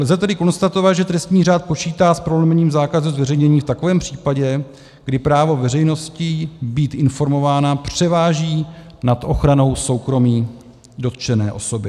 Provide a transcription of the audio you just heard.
Lze tedy konstatovat, že trestní řád počítá s prolomením zákazu zveřejnění v takovém případě, kdy právo veřejnosti být informována převáží nad ochranou soukromí dotčené osoby.